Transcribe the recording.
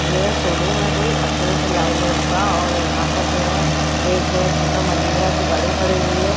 ये शोरूम है कोई अशोक लाइलैंड का और यहाँ पर जो है एक छोटा महिंद्रा की गाड़ी खड़ी हुई है।